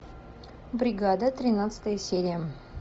бригада тринадцатая серия